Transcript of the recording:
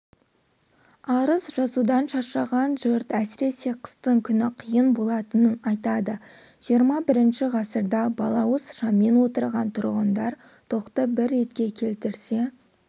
арыз жазудан шаршаған жұрт әсіресе қыстың күні қиын болатынын айтады жиырма бірінші ғасырда балауыз шаммен отырған тұрғындар тоқты бір ретке келтірсе